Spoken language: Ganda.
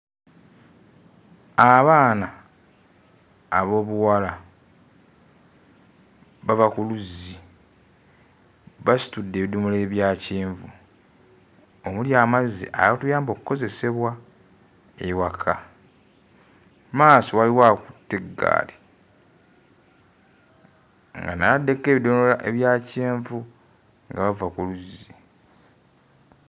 Abaana ab'obuwala bava ku luzzi, basitudde ebidomola ebya kyenvu omuli amazzi agatuyamba okozesebwa ewaka, mu maaso waliwo akutte eggaali nga naye ataddeko ebidomola ebya kyenvu nga bava ku luzzi.